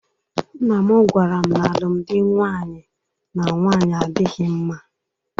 Nnam gwaram na alụmdi nwaanyị na nwaanyị adịghị mma.